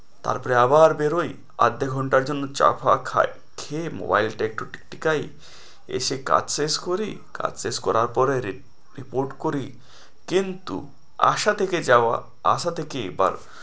তারপরে আবার বেরোই আধা ঘন্টার জন্য চা-ফা খাই খেয়ে mobile টা একটু টিকটিকাই, এসে কাজ শেষ করি কাজ শেষ করার পরে report করি, কিন্তু আসা থেকে যাওয়া আসা থেকে এবার,